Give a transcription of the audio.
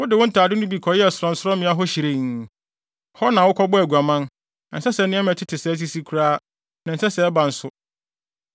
Wode wo ntade no bi kɔyɛɛ sorɔnsorɔmmea hɔ hyirenn; hɔ na wokɔbɔɔ aguaman. Ɛnsɛ sɛ nneɛma a ɛtete sɛɛ sisi koraa, na ɛnsɛ sɛ ɛba nso.